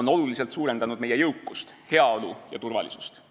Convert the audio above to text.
on oluliselt suurendanud meie jõukust, heaolu ja turvalisust.